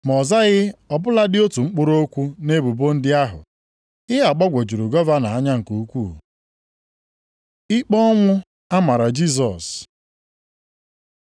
Ma ọ zaghị ọ bụladị otu mkpụrụ okwu nʼebubo ndị ahụ. Ihe a gbagwojuru gọvanọ anya nke ukwuu. Ikpe ọnwụ a mara Jisọs